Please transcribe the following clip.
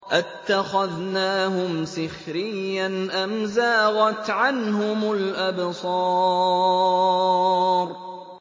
أَتَّخَذْنَاهُمْ سِخْرِيًّا أَمْ زَاغَتْ عَنْهُمُ الْأَبْصَارُ